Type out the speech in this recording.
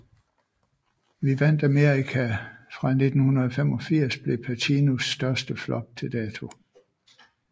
Vi vandt Amerika fra 1985 blev Pacinos største flop til dato